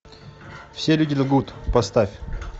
все люди лгут поставь